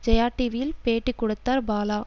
ஜெயா டிவியில் பேட்டிக் கொடுத்தார் பாலா